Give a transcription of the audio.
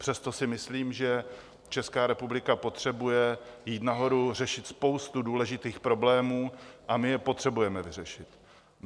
Přesto si myslím, že Česká republika potřebuje jít nahoru, řešit spoustu důležitých problémů a my je potřebujeme vyřešit.